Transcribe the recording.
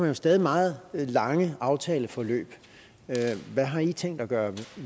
jo stadig meget lange aftaleforløb hvad har i tænkt at gøre